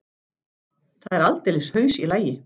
Það er aldeilis haus í lagi.